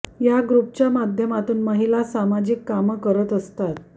या ग्रुपच्या माध्यमातून महिला सामाजिक कामं करत असतात